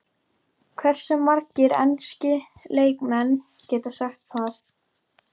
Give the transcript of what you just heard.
Hversu margir enski leikmenn geta sagt það?